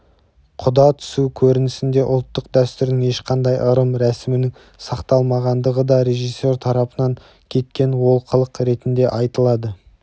құда түсу көрінісінде ұлттық дәстүрдің ешқандай ырым-рәсімінің сақталмағандығы да режиссер тарапынан кеткен олқылық ретінде айтылды